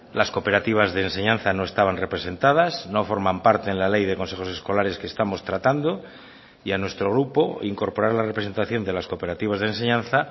las cooperativas de enseñanza no estaban representadas no forman parte en la ley de consejos escolares que estamos tratando y a nuestro grupo incorporar la representación de las cooperativas de enseñanza